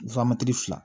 fila